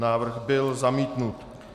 Návrh byl zamítnut.